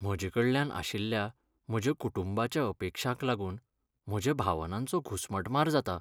म्हजेकडल्यान आशिल्ल्या म्हज्या कुटुंबाच्या अपेक्षांक लागून म्हज्या भावनांचो घुसमटमार जाता .